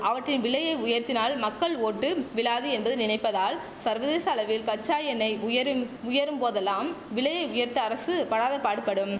அவற்றின் விலையை உயர்த்தினால் மக்கள் ஓட்டு விழாது என்று நினைப்பதால் சர்வதேச அளவில் கச்சா எண்ணெய் விலை உயரும் உயரும் போதெல்லாம் விலையை உயர்த்த அரசு படாதபாடு படும்